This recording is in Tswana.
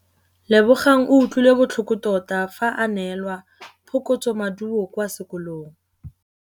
Lebogang o utlwile botlhoko tota fa a neelwa phokotsômaduô kwa sekolong.